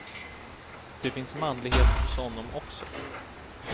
Det finns manlighet hos honom också.